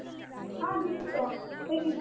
ಹಾ ದೀಪಿಕ ಹೇಗಿದ್ದೀ?